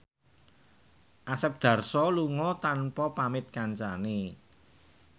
Asep Darso lunga tanpa pamit kancane